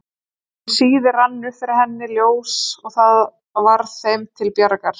Um síðir rann upp fyrir henni ljós og það varð þeim til bjargar.